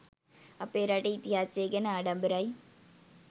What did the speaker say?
අපේ රටේ ඉතිහාසය ගැන ආඩම්බරයි.